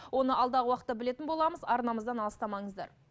оны алдағы уақытта білетін боламыз арнамыздан алыстамаңыздар